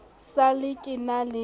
sa le ke na le